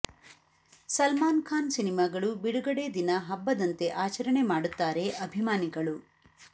ಸಲ್ಮಾನ್ ಖಾನ್ ಸಿನಿಮಾಗಳು ಬಿಡುಗಡೆ ದಿನ ಹಬ್ಬದಂತೆ ಆಚರಣೆ ಮಾಡುತ್ತಾರೆ ಅಭಿಮಾನಿಗಳು